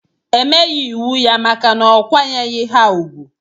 Emeyi iwu ya maka na okwanyeghi ha ugwu.